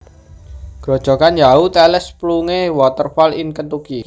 Grojogan Yahoo tallest plunge waterfall in Kentucky